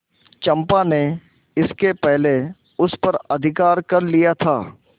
चंपा ने इसके पहले उस पर अधिकार कर लिया था